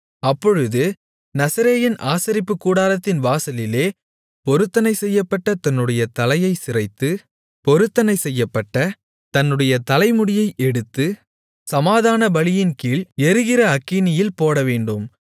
அப்பொழுது நசரேயன் ஆசரிப்புக்கூடாரத்தின் வாசலிலே பொருத்தனை செய்யப்பட்ட தன்னுடைய தலையைச் சிரைத்து பொருத்தனை செய்யப்பட்ட தன்னுடைய தலைமுடியை எடுத்து சமாதானபலியின்கீழ் எரிகிற அக்கினியில் போடவேண்டும்